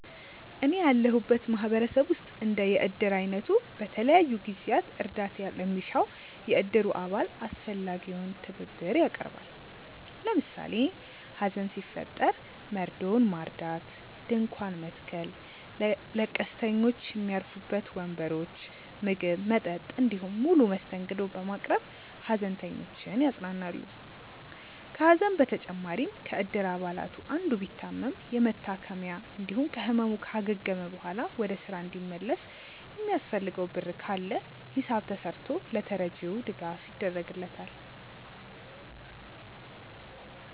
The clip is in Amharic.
እኔ ያለሁበት ማህበረሰብ ውስጥ እንደ የእድር አይነቱ በተለያዩ ጊዜያት እርዳታ ለሚሻው የእድሩ አባል አስፈላጊውን ትብብር ያቀርባል። ለምሳሌ ሀዘን ሲፈጠር መርዶውን ማርዳት፣ ድንኳን መትከል፣ ለቀስተኞች ሚያርፉበት ወንበሮች፣ ምግብ፣ መጠጥ እንዲሁም ሙሉ መስተንግዶ በማቅረብ ሃዘንተኞችን ያጽናናሉ። ከሀዘን በተጨማሪም ከእድር አባላቱ አንዱ ቢታመም የመታከሚያ እንዲሁም ከህመሙ ካገገመ በኋላ ወደ ስራ እንዲመለስ የሚያስፈልገው ብር ካለ ሂሳብ ተስርቶ ለተረጂው ድጋፍ ይደረግለታል።